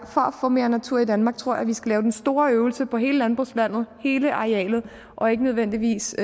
få mere natur i danmark tror jeg at vi skal lave den store øvelse på hele landbrugslandet hele arealet og ikke nødvendigvis